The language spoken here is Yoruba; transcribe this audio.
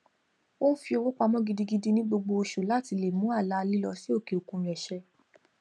ó ń fi owó pamọ gidigidi ní gbogbo oṣù láti lè mú àlá lílo sí òkè òkun rẹ ṣẹ